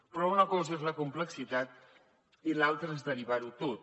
però una cosa és la complexitat i l’altra és derivar ho tot